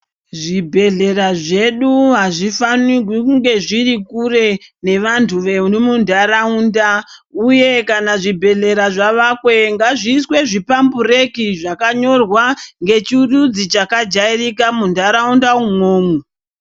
Zvibhedhlera zvedu hazvifanirwi kunge zviri kure nevanu vemuntaraunda uye kana zvibhedhlera zvavakwe ngazviiswe zviphambureki zvakanyorwa ngechirudzi chakajairika muntaraunda umwomwo.